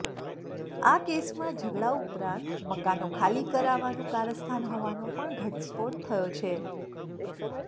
આ કેસમાં ઝઘડા ઉપરાંત મકાનો ખાલી કરાવવાનું કારસ્તાન હોવાનો પણ ઘટસ્ફોટ થયો છે